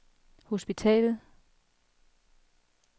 hospitalet